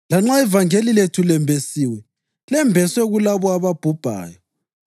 Lanxa ivangeli lethu lembesiwe, lembeswe kulabo ababhubhayo.